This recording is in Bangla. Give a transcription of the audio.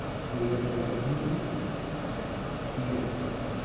গড়িয়াহাটে bank এখানে নেই? কি bank আছে এখানে?